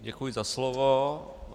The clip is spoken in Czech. Děkuji za slovo.